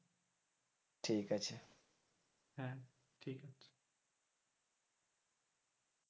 ঠিক আছে,